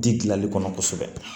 Di gilali kɔnɔ kosɛbɛ